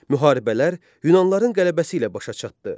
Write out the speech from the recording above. Müharibələr yunanlıların qələbəsi ilə başa çatdı.